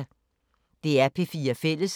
DR P4 Fælles